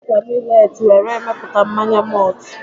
E si n'ọka milet were mepụta mmanya mọltụ